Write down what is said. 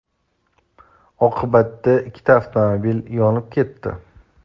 Oqibatda ikkita avtomobil yonib ketdi.